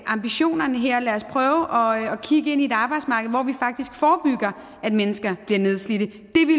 ambitionerne her og lad os prøve at kigge ind i et arbejdsmarked hvor vi faktisk forebygger at mennesker bliver nedslidte